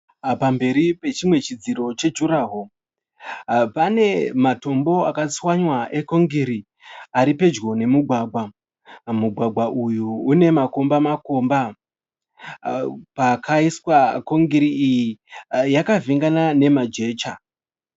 Pamberi pechimwe chidziro chejuraho, pane matombo akatswanywa ekongiri ari pedyo nemugwagwa. Mugwagwa uyu une makomba makomba. Pakaiswa kongiri iyi yakavhengana nema jecha.